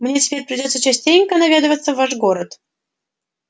мне теперь придётся частенько наведываться в ваш город